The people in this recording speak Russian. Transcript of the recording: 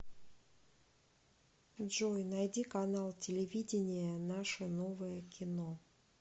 джой найди канал телевидения наше новое кино